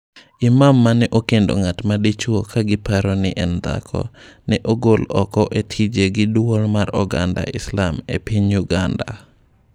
Imam mane okendo ng'at ma dichuo ka giparo ni en dhako, ne ogol oko e tije gi Duol mar oganda Islam e piny Uganda.